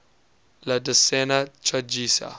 la decena tragica